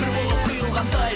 бір болып құйылғандай